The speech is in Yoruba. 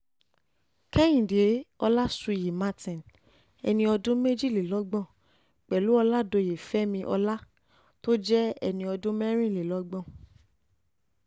kehinde ọlásùyí martin ẹni ọdún méjìlélọ́gbọ̀n pẹ̀lú oládoye oládòye fẹmi ọlá tó jẹ́ ẹni ọdún mẹ́rìnlélọ́gbọ̀n